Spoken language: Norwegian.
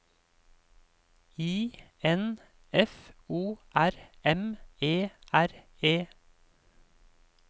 I N F O R M E R E